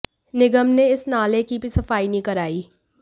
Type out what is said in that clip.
निगम ने इस नाले की भी सफाई नहीं कराई